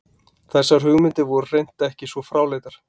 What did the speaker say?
Þessar hugmyndir voru hreint ekki svo fráleitar.